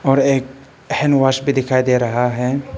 और एक हैंडवाश भी दिखाई दे रहा है।